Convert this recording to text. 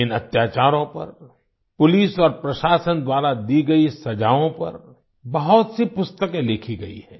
इन अत्याचारों पर पुलिस और प्रशासन द्वारा दी गई सजाओं पर बहुत सी पुस्तकें लिखी गई हैं